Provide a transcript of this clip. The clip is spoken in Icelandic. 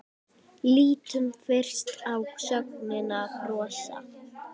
Lítum fyrst á sögnina brosa: